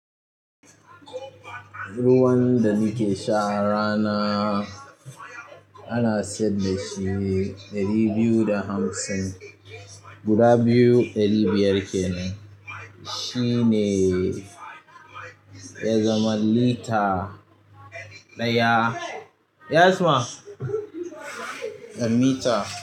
Ruwan da nike sha a rana. Ana siyadd dashi ɗari biyu da hamsin guda biyu ɗari biyar kenan shine ya zama lita ɗaya, mita.